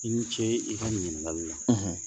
I ni ce i ka ɲininkali la